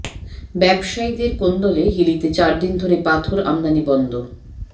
ব্যবসায়ীদের কোন্দলে হিলিতে চার দিন ধরে পাথর আমদানি বন্ধ